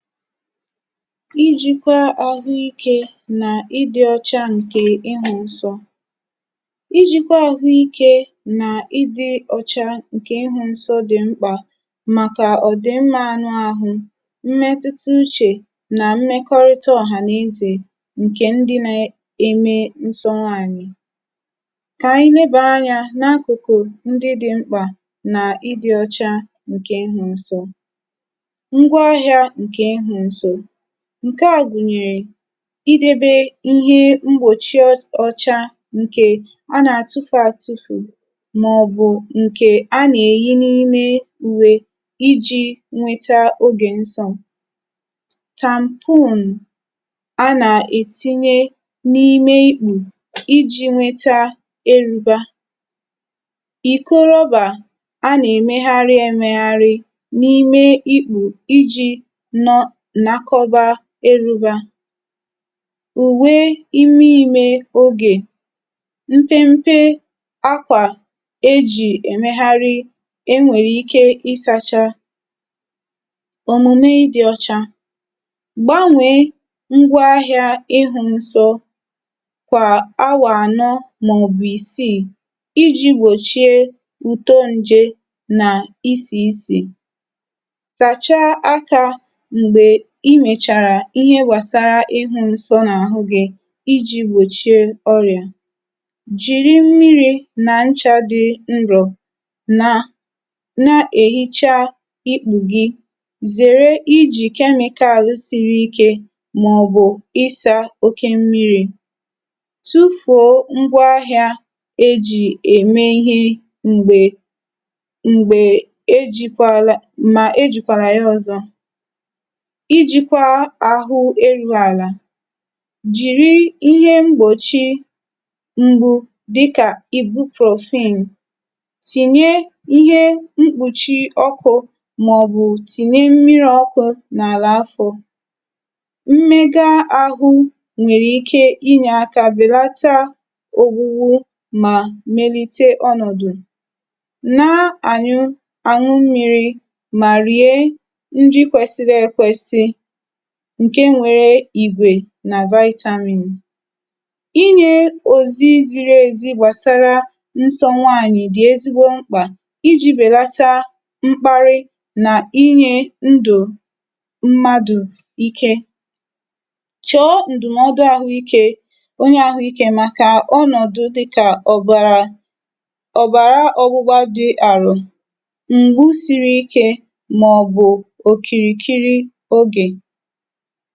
Ijikwa ahụ ike na ịdị ọcha nke ị́hụ nsọ́. Ijikwa ahụike na ịdị ọcha nke ị́hụ nsọ́ dị mkpa maka ọdịmma anụahụ, mmetụta uche na mmekọrịta ọha na eze nke ndị na eme nsọ́ nwaanyị. K'anyị nebaa anya n'akụkụ ndị dị mkpa nq ịdị ọcha nke ị́hụ nsọ́. Ngwaahịa nke ịdị nsọ́. Nke a gụnyere idebe ihe mgbochi ọ ọcha nke a na-atufu atufu maọbụ nke a na-eyi n'ime uwe iji nweta oge nsọ́. Tampon a na-etinye n'ime íkpù iji nwete érubá, ikóróbà a na-emegharị emegharị n'ime íkpù iji nọ́ nakọ́bá érubá, uwe ime ime oge, mpempe ákwà e ji emegharị e nwere ike ịsacha. Omume ịdị ọcha. Gbanwee ngwaahịa ị́hụ nsọ́ kwa áwà anọ maọbụ isii iji gbochie ùtó njé na isi isi. Sachaa aka mgbe i mechara ihe gbasara ị́hụ nsọ́ iji gbochie ọrịa. Jiri mmiri na ncha dị nrọ̀ na na-ehicha íkpù gị. Zere iji chemical siri ike maọbụ ịsa oké mmiri. Tufuo ngwaahịa e ji eme ihe mgbe mgbe e jikwala ma ejikwala ya ọzọ. Ijikwa ahụ eruala. Jiri ihe mgbochi mgbú dị ka ibuprofen. Tinye ihe mkpuchi ọ́kụ maọbụ tinye mmiri ọ́kụ n'ala afọ. Mmega ahụ nwere ike inye aka belata ògbúgbú ma melite ọnọdụ. Na anyụ aṅụ mmiri ma rie nri kwesịrị ekwesị nke nwere ìgwè na vitamin. Inye òzí ziri ezi gbasara nsọ́ nwaanyị dị ezigbo mkpa iji belata mkparị na inye ndụ mmadụ íké. Chọọ ndụmọdụ ahụike onye ahụike maka ọnọdụ dị ka ọbara ọbara ọọ̀gbụ́gbá dị arọ, mgbú siri ike maọbụ okirikiri oge.